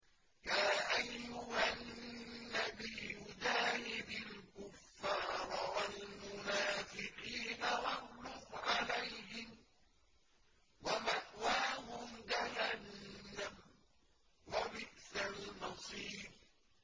يَا أَيُّهَا النَّبِيُّ جَاهِدِ الْكُفَّارَ وَالْمُنَافِقِينَ وَاغْلُظْ عَلَيْهِمْ ۚ وَمَأْوَاهُمْ جَهَنَّمُ ۖ وَبِئْسَ الْمَصِيرُ